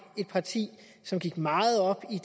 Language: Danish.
et parti der gik meget op